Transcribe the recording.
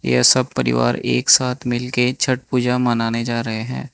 यह सब परिवार एक साथ मिल के छठ पूजा मनाने जा रहे हैं।